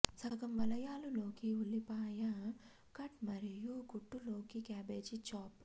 సగం వలయాలు లోకి ఉల్లిపాయ కట్ మరియు కుట్లు లోకి క్యాబేజీ చాప్